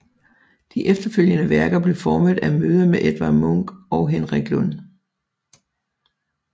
De efterfølgende værker blev formet af møder med Edward Munch og Henrik Lund